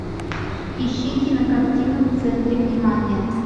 ищи кинокартину в центре внимания